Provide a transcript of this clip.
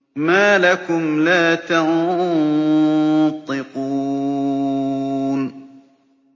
مَا لَكُمْ لَا تَنطِقُونَ